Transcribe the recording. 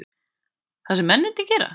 Það sem mennirnir gera?